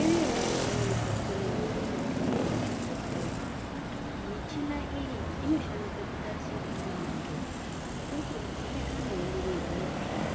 Iriyoo michini inoshandiswa ngemadhokodheya muzvibhedhlera michini iyi inoshandiswa kutarisa kuti muntu ukudzimbikana ere ngebhiipii